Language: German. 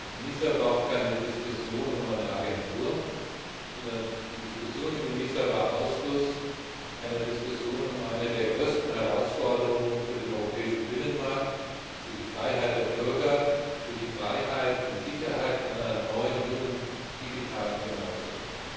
ENISA war auch keine Diskussion um eine Agentur, sondern ENISA war Ausfluss einer Diskussion um eine der größten Herausforderungen für den europäischen Binnenmarkt, für die Freiheit der Bürger, für die Freiheit und Sicherheit einer neuen, jungen, digitalen Generation.